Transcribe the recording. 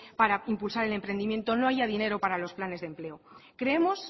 para impulsar el emprendimiento no haya dinero para los planes de empleo creemos